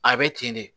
A bɛ ten de